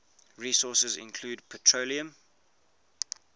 resources include petroleum